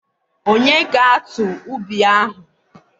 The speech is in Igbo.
Ònye ga-atụ ubi ahụ?